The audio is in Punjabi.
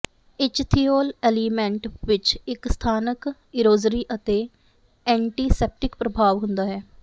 ਇਚਥੀਓਲ ਅਲੀਮੈਂਟ ਵਿੱਚ ਇੱਕ ਸਥਾਨਕ ਇਰੋਜ਼ਰੀ ਅਤੇ ਐਂਟੀਸੈਪਟਿਕ ਪ੍ਰਭਾਵ ਹੁੰਦਾ ਹੈ